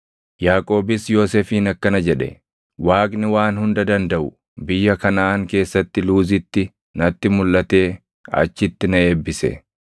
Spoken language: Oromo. Yaaqoobis Yoosefiin akkana jedhe; “Waaqni Waan Hunda Dandaʼu biyya Kanaʼaan keessatti Luuzitti natti mulʼatee achitti na eebbise;